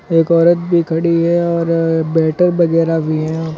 एक औरत भी खड़ी है और वगैरा भी है यहां।